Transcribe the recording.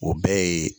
O bɛɛ ye